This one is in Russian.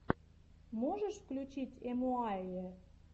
можешь включить эмуаййэ